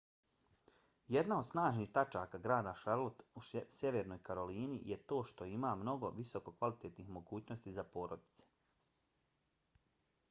jedna od snažnih tačaka grada charlotte u sjevernoj karolini je to što ima mnogo visokokvalitetnih mogućnosti za porodice